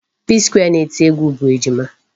Psquare na-eti egwu bụ Ejima.